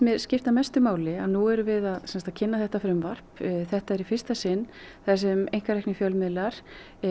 skipta máli að nú erum við að kynna þetta frumvarp þetta er í fyrsta sinn þar sem einkareknir fjölmiðlar